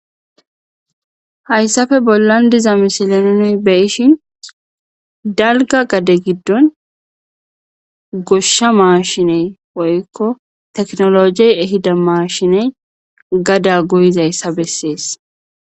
Hayssappe bollan diza misile nuun beyishin dalgga gadde giddon gooshsha maashiney woykko tekinolojey eehidda maashiney gadda gooyizayssa besses